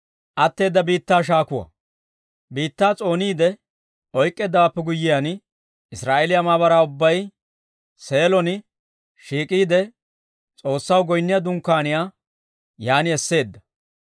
Biittaa s'ooniide oyk'k'eeddawaappe guyyiyaan, Israa'eeliyaa maabaraa ubbay Seelon shiik'iide S'oossaw goynniyaa Dunkkaaniyaa yaan esseedda.